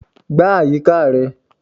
Gbá àyíká rẹ.